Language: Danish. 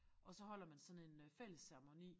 Og så holder man sådan en øh fælles ceremoni